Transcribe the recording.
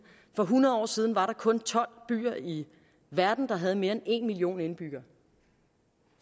for hundrede år siden var der kun tolv byer i verden der havde mere end en million indbyggere